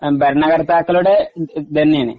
ഭരണകർത്താക്കളുടെ ഇതന്നേണ്